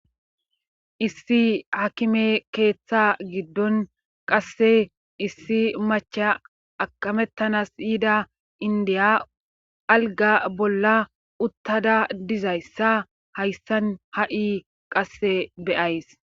issi hakime keeththa giddon qasse issi macha aqamettana syida indiya phalga bolla uttada dizayssa hayssan ha7i qasse beyays